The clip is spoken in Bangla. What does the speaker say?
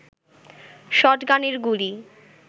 শটগানের গুলি